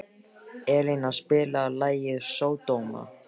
Elíná, spilaðu lagið „Sódóma“.